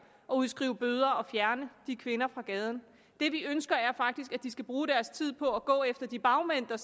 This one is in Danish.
og udskrive bøder og fjerne de kvinder fra gaden det vi ønsker er faktisk at de skal bruge deres tid på at gå efter de bagmænd der